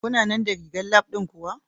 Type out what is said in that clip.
Kuna nan da rigar Lab ɗin ku?